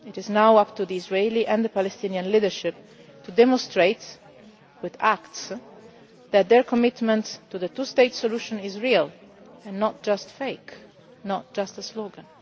It is now up to the Israeli and the Palestinian leadership to demonstrate, with acts, that their commitment to the two state solution is real and not fake, not just a slogan.